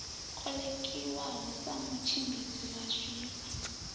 kolekiwaho sa mutshimbidzi wa zwifha